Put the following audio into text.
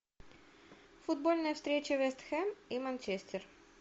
футбольная встреча вест хэм и манчестер